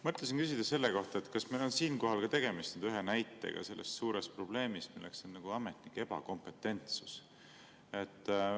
Mõtlesin küsida selle kohta, kas meil on siinkohal tegemist ühe näitega selle suure probleemi kohta, milleks on ametnike ebakompetentsus.